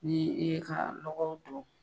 Ni i ye ka lɔgɔ don.